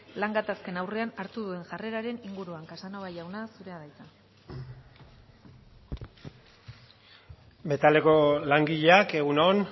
lan gatazken aurrean hartuko duen jarreraren inguruan casanova jauna zurea da hitza metaleko langileak egun on